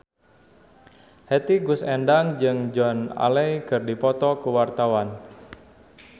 Hetty Koes Endang jeung Joan Allen keur dipoto ku wartawan